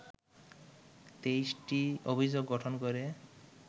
২৩টি অভিযোগ গঠন করে